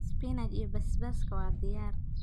Spinach iyo basbaaska waa diyaar.